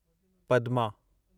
Padma